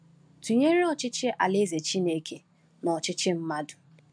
Tụnyere ọchịchị Alaeze Chineke na ọchịchị mmadụ.